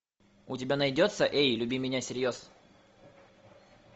у тебя найдется эй люби меня всерьез